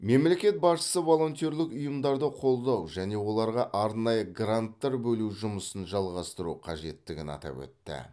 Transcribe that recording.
мемлекет басшысы волонтерлік ұйымдарды қолдау және оларға арнайы гранттар бөлу жұмысын жалғастыру қажеттігін атап өтті